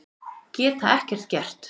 Geta ekkert gert.